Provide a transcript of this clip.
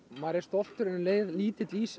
maður er stoltur en um leið lítil í sér